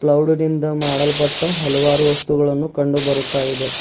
ಗೌಡದಿಂದ ಮಾಡಲ್ಪಟ್ಟ ಹಲವಾರು ವಸ್ತುಗಳನ್ನು ಕಂಡುಬರುತ್ತ ಇದೆ.